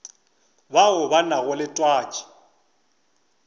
bao ba nago le twatši